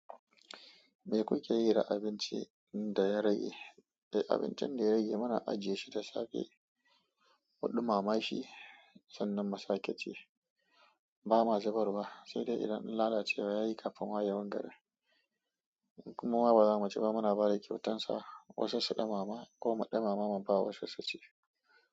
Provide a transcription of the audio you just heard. Me kuke yi da abincin da ya rage? Eh, abincin da ya rage muna ajiye shi da safe. Muɗuma-ma shi sannan mu sake ci. Ba ma zubar ba, sai dai idan lalacewa ya yi kafin wayewan garin. Ko ba za mu ci ba muna ba da kyautarsa. Wasu su ɗauma-ma ko mu ɗauma-ma muba wasu su ci.